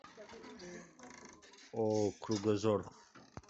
ооо кругозор